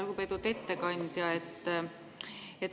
Lugupeetud ettekandja!